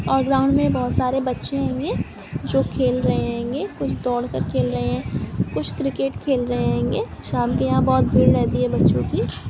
और ग्राउन्ड मे बहुत सारे बच्चे हुए जो खेल रहे होंगे इस दौड़ खेल रहे है कुछ क्रिकेट खेल रहे होंगे साम को यहा भीड़ रहती है बच्चों की--